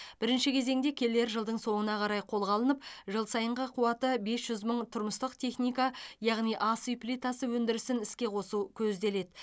бірінші кезеңде келер жылдың соңына қарай қолға алынып жыл сайынғы қуаты бес жүз мың тұрмыстық техника яғни ас үй плитасы өндірісін іске қосу көзделеді